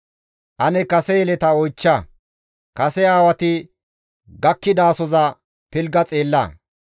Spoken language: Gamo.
«Ane kase yeleta oychcha; kase aawati gakkidasoza pilgga xeella.